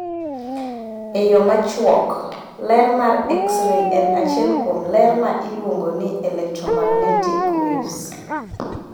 E yo machuok: ler mar X ray en achiel kuom ler ma iluongo ni electromagnetic waves